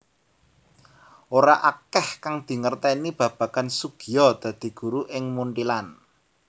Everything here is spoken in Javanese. Ora akèh kang dingertèni babagan Soegija dadi guru ing Munthilan